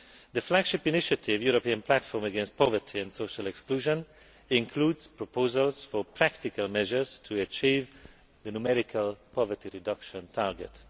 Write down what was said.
The flagship initiative, the European Platform against Poverty and Social Exclusion, includes proposals for practical measures to achieve the numerical poverty reduction target.